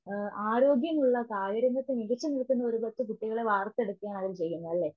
ആ ആരോഗ്യമുള്ള കായികരംഗത്തു മികച്ചു നിൽക്കുന്നൊരു പറ്റം കുട്ടികളെ വാർത്തെടുക്കുവാണവര് ചെയ്യുന്നതല്ലേ.